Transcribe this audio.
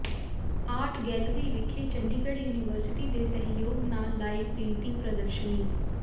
art gallery ਵਿਖੇ Chandigarh university ਦੇ ਸਹਿਯੋਗ ਨਾਲ ਲਾਈ ਪੇਂਟਿੰਗ ਪ੍ਰਦਰਸ਼ਨੀ